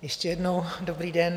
Ještě jednou dobrý den.